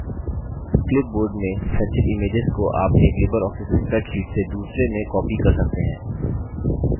clipboard में संचित images को आप एक लिबर ऑफिस spreadsheet से दूसरे में copy कर सकते हैं